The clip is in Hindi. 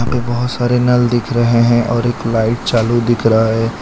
बहोत सारे नल दिख रहे हैं और एक लाइट चालू दिख रहा है।